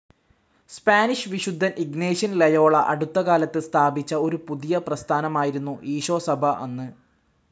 Spanish വിശുദ്ധൻ Ignatian Loyola അടുത്തകാലത്ത് സ്ഥാപിച്ച ഒരു പുതിയ പ്രസ്ഥാനമായിരുന്നു ഈശോസഭ അന്ന്.